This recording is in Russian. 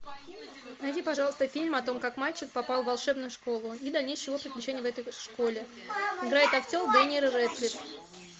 найди пожалуйста фильм о том как мальчик попал в волшебную школу и дальнейшие его приключения в этой школе играет актер дэниел рэдклифф